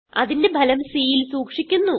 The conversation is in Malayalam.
അതിന്റെ ഫലം cൽ സൂക്ഷിക്കുന്നു